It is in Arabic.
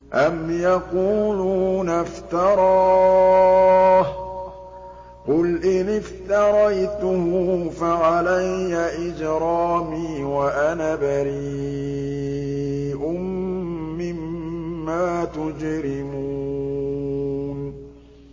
أَمْ يَقُولُونَ افْتَرَاهُ ۖ قُلْ إِنِ افْتَرَيْتُهُ فَعَلَيَّ إِجْرَامِي وَأَنَا بَرِيءٌ مِّمَّا تُجْرِمُونَ